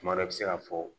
Tuma dɔ la i bɛ se ka fɔ